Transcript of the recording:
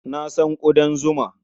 Na san ƙudan zuma.